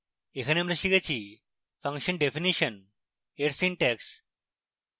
এখানে আমরা শিখেছিfunction definition in সিনট্যাক্স